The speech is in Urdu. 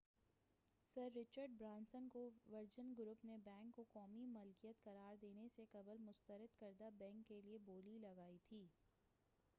سر رچرڈ برانسن کے ورجن گروپ نے بینک کو قومی ملکیت قرار دینے سے قبل مسترد کردہ بینک کیلئے بولی لگائی تھی